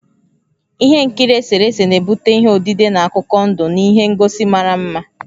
Ihe nkiri eserese na-ebute ihe odide na akụkọ ndụ na ihe ngosi mara mma.